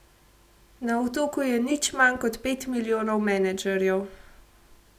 Na Otoku je nič manj kot pet milijonov menedžerjev.